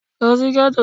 Lo sí Gétò